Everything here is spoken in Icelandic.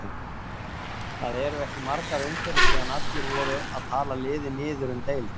Það eru ekki margar umferðir síðan allir voru að tala liðið niður um deild.